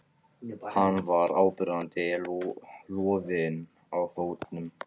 Hann var áberandi loðinn á fótunum.